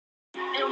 Leik ekki hund.